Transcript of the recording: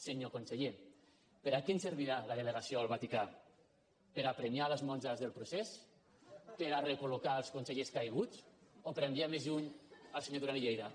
senyor conseller per a què ens servirà la delegació al vaticà per a premiar les monges del procés per a recol·locar els consellers caiguts o per enviar més lluny el senyor duran i lleida